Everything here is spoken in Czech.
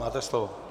Máte slovo.